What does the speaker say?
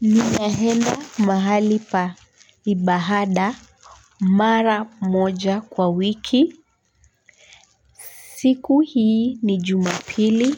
Ninaenda mahali pa ibada mara moja kwa wiki. Siku hii ni Jumapili.